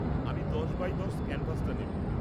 আমি ১০ বাই ১০ ক্যানভাসটা নেব।